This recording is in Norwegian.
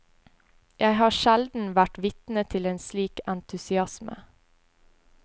Jeg har sjelden vært vitne til slik entusiasme.